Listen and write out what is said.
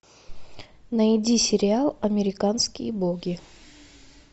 найди сериал американские боги